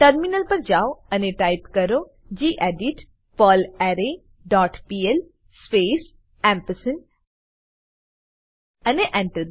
terminal પર જાઓ અને ટાઈપ કરો ગેડિટ પર્લરે ડોટ પીએલ સ્પેસ અને Enter